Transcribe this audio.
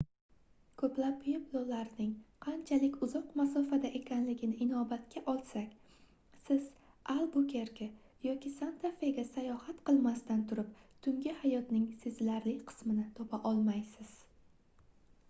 koʻplab pueblolarning qanchalik uzoq masofada ekanligini inobatga olsak siz albukerke yoki santa fega sayohat qilmasdan turib tungi hayotning sezilarli qismini topa olmaysiz